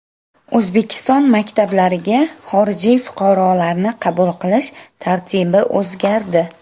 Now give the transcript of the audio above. O‘zbekiston maktablariga xorijiy fuqarolarni qabul qilish tartibi o‘zgardi.